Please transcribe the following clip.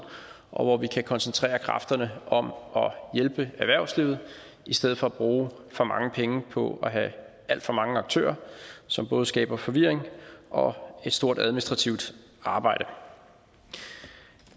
og hvor vi kan koncentrere kræfterne om at hjælpe erhvervslivet i stedet for at bruge for mange penge på at have alt for mange aktører som både skaber forvirring og et stort administrativt arbejde